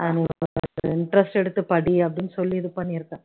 interest எடுத்து படி அப்படின்னு சொல்லி இது பண்ணிருக்கேன்